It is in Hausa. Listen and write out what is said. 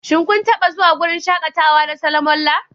Shin kun taɓa zuwa wurin shakatawa na Solomon Lar?